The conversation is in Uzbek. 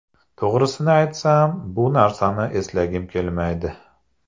To‘g‘risini aytsam, bu narsani eslagim kelmaydi.